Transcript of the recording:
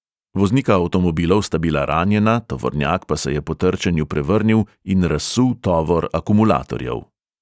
Voznika avtomobilov sta bila ranjena, tovornjak pa se je po trčenju prevrnil in razsul tovor akumulatorjev.